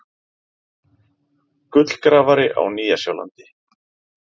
Gullgrafari á Nýja-Sjálandi.